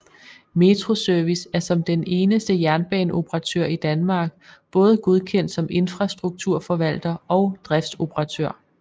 Metro Service er som den eneste jernbaneoperatør i Danmark både godkendt som infrastrukturforvalter og driftsoperatør